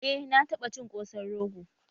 Eh, na taɓa cin ƙosan rogo